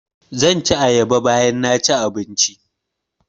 Zan ci ayaba bayan naci abinci